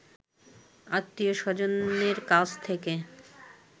আত্মীয় স্বজনের কাছ থেকে